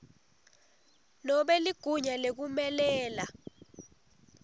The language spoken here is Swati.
nobe ligunya lekumelela